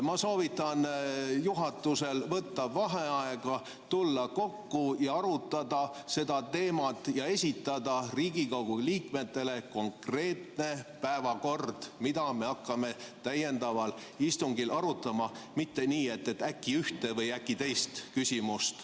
Ma soovitan juhatusel võtta vaheaeg, tulla kokku, arutada seda teemat ja esitada Riigikogu liikmetele konkreetne päevakord, mida me hakkame täiendaval istungil arutama, mitte nii, et äkki ühte või teist küsimust.